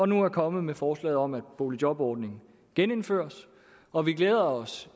nu er kommet med forslaget om at boligjobordningen genindføres og vi glæder os